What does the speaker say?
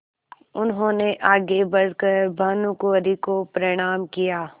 उन्होंने आगे बढ़ कर भानुकुँवरि को प्रणाम किया